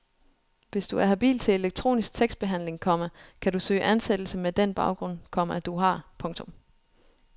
Hvis du er habil til elektronisk tekstbehandling, komma kan du søge ansættelse med den baggrund, komma du har. punktum